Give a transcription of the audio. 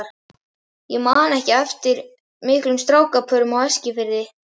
Ég man ekki eftir miklum strákapörum á Eskifirði.